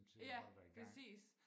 Ja præcis